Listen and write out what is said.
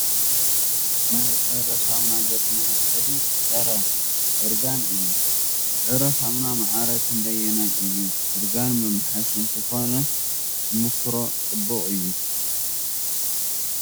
ናይ ዕረ ሳሙና ገፅ መሕፀቢ ፀረ- እርጋን እዩ። ዕረ ሳሙና ማዕረ ክንደይ እዩ ናይ እርጋን መማሓየሺ እንተኮይኑ ንመኩሮ ፅቡቅ እዩ ።